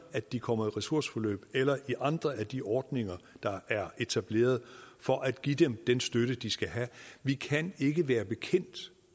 at de kommer i ressourceforløb eller andre af de ordninger der er etableret for at give dem den støtte de skal have vi kan ikke være bekendt